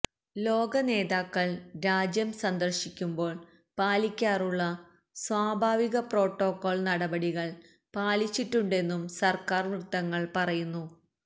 ലോക നേതാക്കള് രാജ്യം സന്ദര്ശിക്കുമ്പോള് പാലിക്കാറുള്ള സ്വാഭാവിക പ്രോട്ടോക്കോള് നടപടികള് പാലിച്ചിട്ടുണ്ടെന്നും സര്ക്കാര് വൃത്തങ്ങള് പറയുന്നു